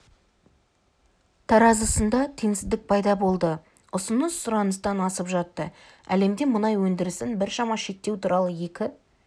таразысында теңсіздік пайда болды ұсыныс сұраныстан асып жатты әлемде мұнай өндірісін біршама шектеу туралы екі